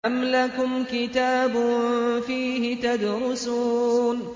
أَمْ لَكُمْ كِتَابٌ فِيهِ تَدْرُسُونَ